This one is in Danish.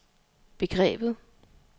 begrebet